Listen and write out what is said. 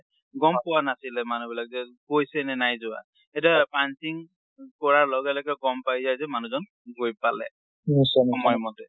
গম পোৱা নচিলে মানুহ বিলাক যে গৈছে নে নাই যোৱা। এতিয়া punching কৰাৰ লগে লগে গম পাই যে মানুহ জন গৈ পালে সময় মতে।